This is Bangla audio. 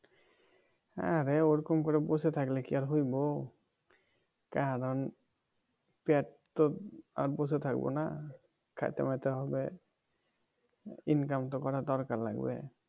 হ্যাঁ ভাই ওরকম করে বসে থাকলে কি আর হইব কারণ পেট তো আর বসে থাকবো না খাইতে ফলাইতে হবে income তো করা দরকার লাগবে